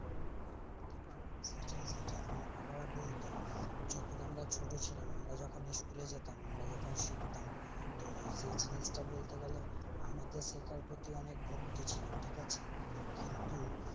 আমার বাবারা বলতো যেকোন আমরা ছোটছিলাম আমরা যেকোন school এ যেতাম আমরা যেকোন সিকতাম তো সেই জিনিসটা বলতে গেলে আমাদের শিক্ষার প্রতি অনেক ভক্তি ছিল ঠিকাআছে কিন্তু